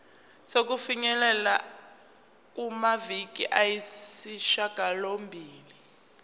sokufinyelela kumaviki ayisishagalombili